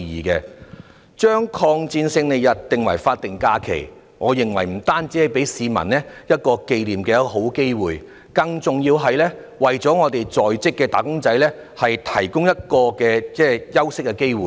把抗日戰爭勝利紀念日列為法定假日，我認為不僅給予市民一個紀念的好機會，更重要的是，為在職的"打工仔"提供休息的機會。